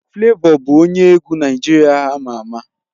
Flavor bụ onye egwu Naịjirịa ama ama